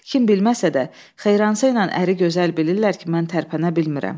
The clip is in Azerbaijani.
Kim bilməsə də, Xeyransa ilə əri gözəl bilirlər ki, mən tərpənə bilmirəm.